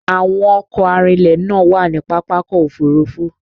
Àwọn ọkọ̀ arinlẹ̀ náà wà ní Pápákọ̀ Òfurufú